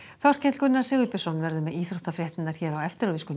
Þorkell Gunnar Sigurbjörnsson sem verður með íþróttafréttirnar hér á eftir við skulum